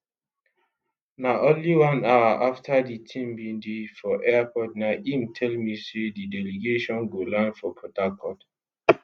na only one hour afta di team bin dey for air na im tell me say di delegation go land for port harcourt